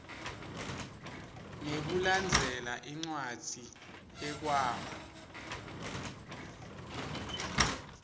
ngekulandzela incwadzi yekwaba